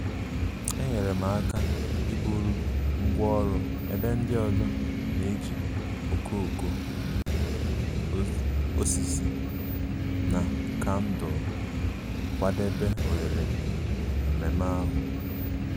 enyere m aka iburu ngwá ọrụ ebe ndị ọzọ na-eji okooko osisi na kandụl kwadebe oghere ememe ahụ